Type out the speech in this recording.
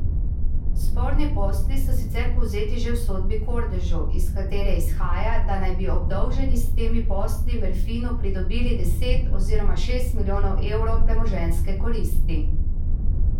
Sporni posli so sicer povzeti že v sodbi Kordežu, iz katere izhaja, da naj bi obdolženi s temi posli Merfinu pridobili deset oziroma šest milijonov evrov premoženjske koristi.